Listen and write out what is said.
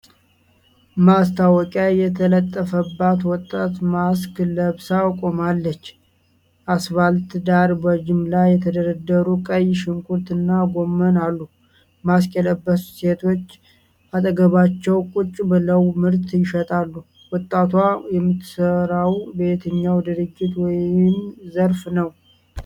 ማስታወቂያ የተለጠፈባት ወጣት ማስክ ለብሳ ቆማለች። አስፋልት ዳር በጅምላ የተደረደሩ ቀይ ሽንኩርት እና ጎመን አሉ። ማስክ የለበሱ ሴቶች አጠገባቸው ቁጭ ብለው ምርት ይሸጣሉ። ወጣቷ የምትሠራው በየትኛው ድርጅት ወይም ዘርፍ ነው?